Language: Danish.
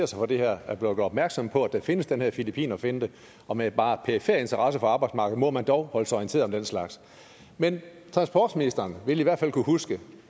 sig for det her er blevet gjort opmærksom på at der findes den her filippinerfinte og med bare perifer interesse for arbejdsmarkedet må man dog holde sig orienteret om den slags men transportministeren vil i hvert fald kunne huske